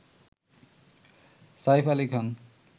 Saif Ali Khan